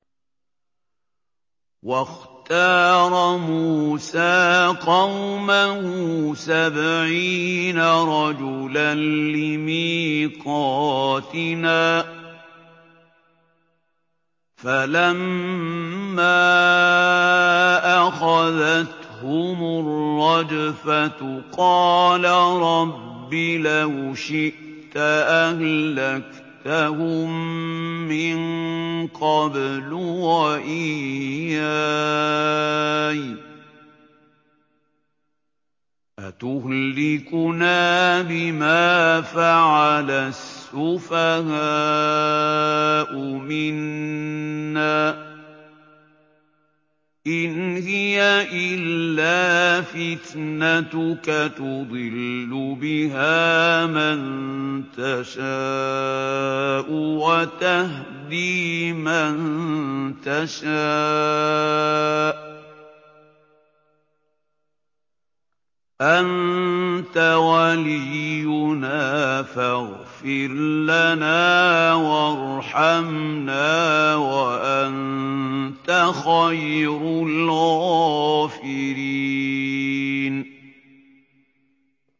وَاخْتَارَ مُوسَىٰ قَوْمَهُ سَبْعِينَ رَجُلًا لِّمِيقَاتِنَا ۖ فَلَمَّا أَخَذَتْهُمُ الرَّجْفَةُ قَالَ رَبِّ لَوْ شِئْتَ أَهْلَكْتَهُم مِّن قَبْلُ وَإِيَّايَ ۖ أَتُهْلِكُنَا بِمَا فَعَلَ السُّفَهَاءُ مِنَّا ۖ إِنْ هِيَ إِلَّا فِتْنَتُكَ تُضِلُّ بِهَا مَن تَشَاءُ وَتَهْدِي مَن تَشَاءُ ۖ أَنتَ وَلِيُّنَا فَاغْفِرْ لَنَا وَارْحَمْنَا ۖ وَأَنتَ خَيْرُ الْغَافِرِينَ